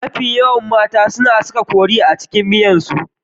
Mafi yawan mata su na saka kori a cikin miyarsu.